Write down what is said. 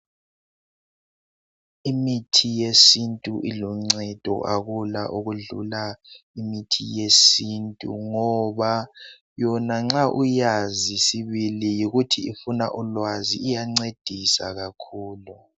Imithi yesintu iluncedo, akula okudlula imithi yesintu ngoba yona nxa uyazi sibili ukuthi ifuna ulwazi iyancedisa kakhulu.